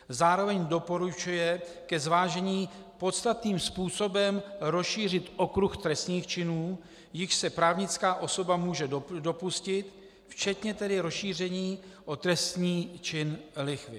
Zároveň doporučuje ke zvážení podstatným způsobem rozšířit okruh trestných činů, jichž se právnická osoba může dopustit, včetně tedy rozšíření o trestný čin lichvy.